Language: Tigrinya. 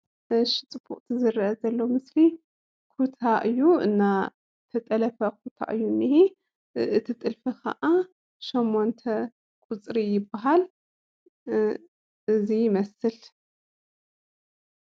እሺ ፅቡቕ ዝረአ ዘሎ ምስሊ ኩታ እዩ እና ተጠለፈ ኩታ እዩ እኔሄ እቲ ጥልፊ ኸዓ ሾመንተ ቁፅሪ ይበሃል እዚ ይመስል